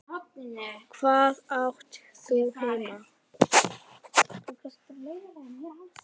Hvar átt þú heima?